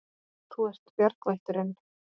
Þú ert bjargvætturin.